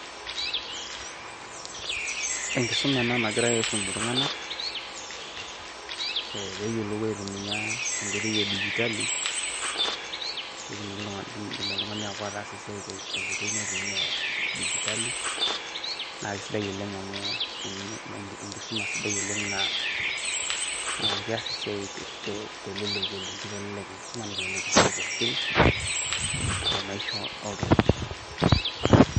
Enkisuma ena nagirai aisum iltung`anak pee eyiolou aitumia enkoitoi e digitali pee etumoki oltung`ani apuo ataasa esiai tenkoitoi naitumia digitali. Naa kisidai oleng amu enkisuma sidai oleng naa keas esiai oleng teleleki. Keitelelek enkisuma neitelelk esiai pookin o maisha oltung`ani.